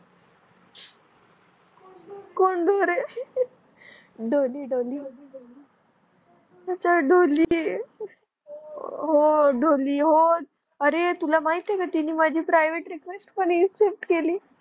डोली डोल तीच डोली आहे हो डोली अरे तुला माहित का तिने मझ परिवते रिक्वेस्ट पणअसेप्त केली